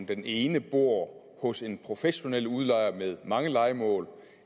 den ene bor hos en professionel udlejer med mange lejemål og